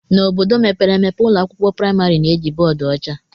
N'obodo mepere emepe, ụlọ akwụkwọ praịmarị na-eji bọọdụ ọcha.